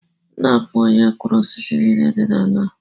Nna m bụ onye kụrụ osisi nile dị n’ala a